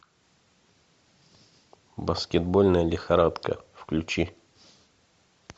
баскетбольная лихорадка включи